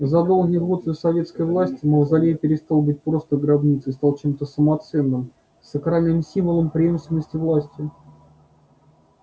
за долгие годы советской власти мавзолей перестал быть просто гробницей и стал чемто самоценным сакральным символом преемственности власти